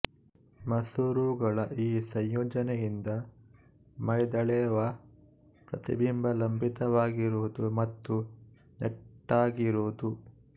ಮಸೂರಗಳ ಈ ಸಂಯೋಜನೆಯಿಂದ ಮೈದಳೆವ ಪ್ರತಿಬಿಂಬ ಲಂಬಿತವಾಗಿರುವುದು ಮತ್ತು ನೆಟ್ಟಗಿರುವುದು